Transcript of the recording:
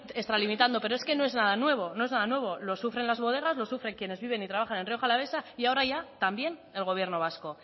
extralimitando pero es que no es nada nuevo no es nada nuevo lo sufren las bodegas lo sufren quienes viven y trabajan en rioja alavesa y ahora ya también el gobierno vasco